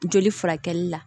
Joli furakɛli la